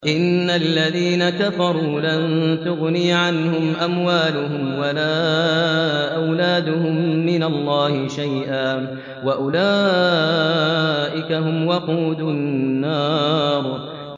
إِنَّ الَّذِينَ كَفَرُوا لَن تُغْنِيَ عَنْهُمْ أَمْوَالُهُمْ وَلَا أَوْلَادُهُم مِّنَ اللَّهِ شَيْئًا ۖ وَأُولَٰئِكَ هُمْ وَقُودُ النَّارِ